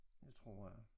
Det tror jeg